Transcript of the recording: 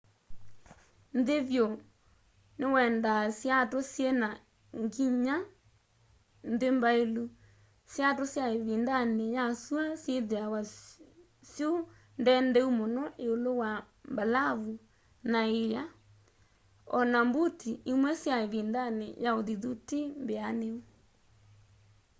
nthĩ vyũ nĩwendaa siatũ syĩna nginya-nthĩ mbaĩlu siatũ sya ĩvindanĩ ya syũa syĩthĩawa syũ ndendeu mũno ĩũlũ wa mbalavu na ĩa o na mbuti imwe sya ĩvindanĩ ya ũthithu ti mbĩanu